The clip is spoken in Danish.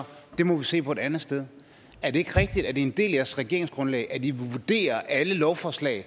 det må man se på et andet sted er det ikke rigtigt at det er en del af jeres regeringsgrundlag at i vil vurdere alle lovforslag